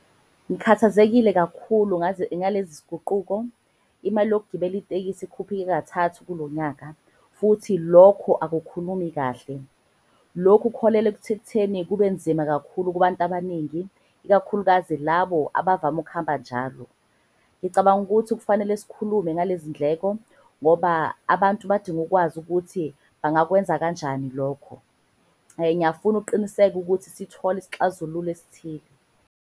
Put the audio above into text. Ngikhathazekile kakhulu ngalezi ziguquko. Imali yokugibela itekisi ikhuphuke kathathu kulo nyaka futhi lokho akukhulumi kahle. Lokhu kuholela ekutheni kubenzima kakhulu kubantu abaningi, ikakhulukazi labo abavame ukuhamba njalo. Ngicabanga ukuthi kufanele sikhulume ngalezi ndleko ngoba abantu badinga ukwazi ukuthi bangakwenza kanjani lokho. Ngiyafuna uqiniseka ukuthi sithole isixazululo esithile.